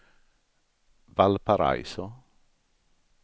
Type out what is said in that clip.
Valparaiso